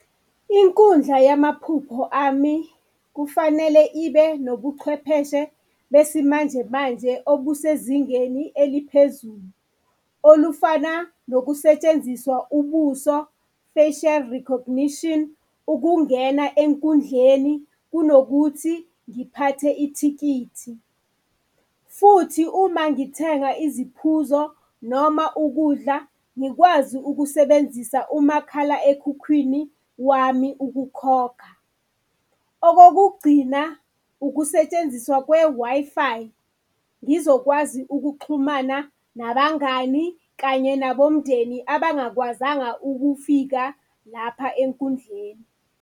Inkundla yamaphupho ami kufanele ibe nobuchwepheshe besimanje manje obusezingeni eliphezulu olufana nokusetshenziswa ubuso, facial recognition, ukungena enkundleni kunokuthi ngiphathe ithikithi. Futhi uma ngithenga iziphuzo noma ukudla ngikwazi ukusebenzisa umakhala ekhukhwini wami ukukhokha. Okokugcina, ukusetshenziswa kwe-Wi-Fi ngizokwazi ukuxhumana nabangani kanye nabomndeni abangakwazanga ukufika lapha enkundleni.